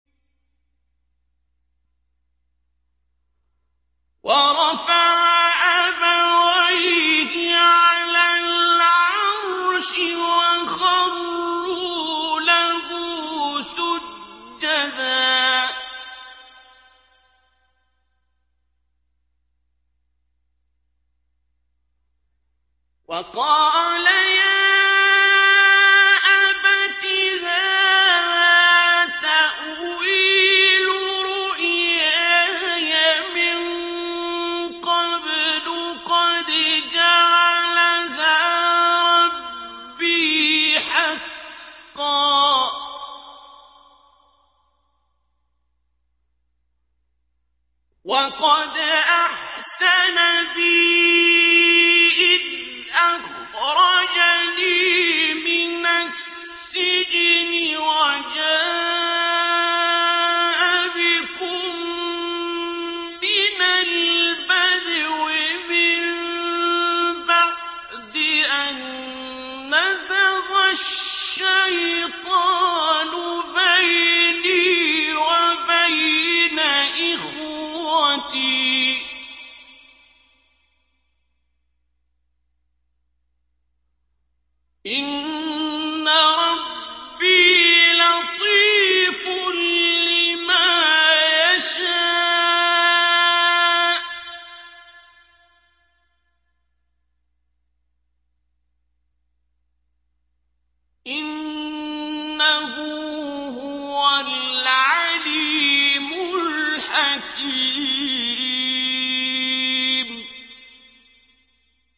وَرَفَعَ أَبَوَيْهِ عَلَى الْعَرْشِ وَخَرُّوا لَهُ سُجَّدًا ۖ وَقَالَ يَا أَبَتِ هَٰذَا تَأْوِيلُ رُؤْيَايَ مِن قَبْلُ قَدْ جَعَلَهَا رَبِّي حَقًّا ۖ وَقَدْ أَحْسَنَ بِي إِذْ أَخْرَجَنِي مِنَ السِّجْنِ وَجَاءَ بِكُم مِّنَ الْبَدْوِ مِن بَعْدِ أَن نَّزَغَ الشَّيْطَانُ بَيْنِي وَبَيْنَ إِخْوَتِي ۚ إِنَّ رَبِّي لَطِيفٌ لِّمَا يَشَاءُ ۚ إِنَّهُ هُوَ الْعَلِيمُ الْحَكِيمُ